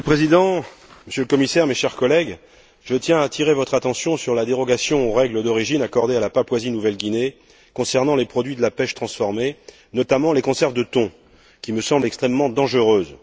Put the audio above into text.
Monsieur le Président, Monsieur le Commissaire, chers collègues, je tiens à attirer votre attention sur la dérogation aux règles d'origine accordée à la Papouasie Nouvelle Guinée, concernant les produits de la pêche transformés, notamment les conserves de thon, qui me semble extrêmement dangereuse.